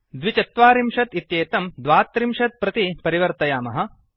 ४२ इत्येतं ३२ प्रति परिवर्तयामः